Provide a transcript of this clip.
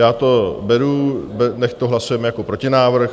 Já to beru, nechť to hlasujeme jako protinávrh.